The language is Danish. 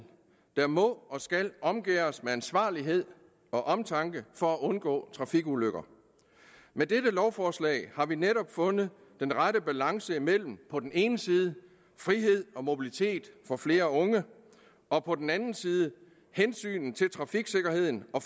der må og skal omgærdes med ansvarlighed og omtanke for at undgå trafikulykker med dette lovforslag har vi netop fundet den rette balance mellem på den ene side frihed og mobilitet for flere unge og på den anden side hensynet til trafiksikkerheden og